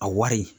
A wari